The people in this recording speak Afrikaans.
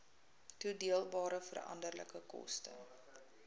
toedeelbare veranderlike koste